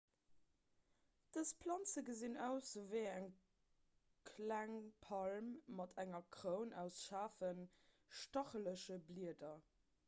dës planze gesinn aus ewéi eng kleng palm mat enger kroun aus schaarfen stachelege blieder